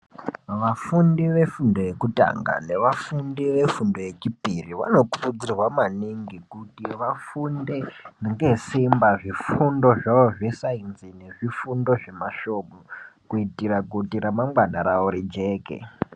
Vafundi vefundo yekutanga nevafundi vefundo yechipiri vanokurudzirwa maningi kuti vafunde ngesimba zvifundo zvawo zvesainzi nezvifundo zvemasvomu kuitire kuti remangwani rawo rijeke.